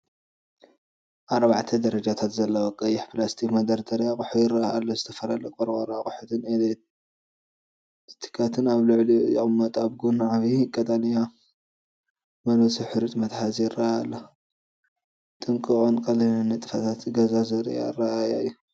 ኣርባዕተ ደረጃታት ዘለዎ ቀይሕ ፕላስቲክ መደርደሪ ኣቑሑ ይረአ ኣሎ። ዝተፈላለዩ ቆርቆሮ ኣቑሑትን ኤስታላትን ኣብ ልዕሊኡ ይቕመጡ። ኣብ ጎኑ ዓቢይ ቀጠልያ መልወሲ ሕሩጭ መትሓዚ ይራኣይ ኣሎ። ጥንቁቕን ቀሊልን ንጥፈታት ገዛ ዘርኢ ኣረኣእያ እዩ።